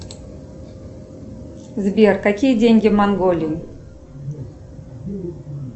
сбер какие деньги в монголии